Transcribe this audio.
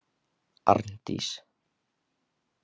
Arndís